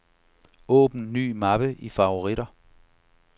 Åbn ny mappe i favoritter.